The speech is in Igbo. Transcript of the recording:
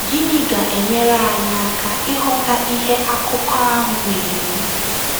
Gịnị ga-enyere anyị aka ịghọta ihe akụkọ ahụ na-ekwu?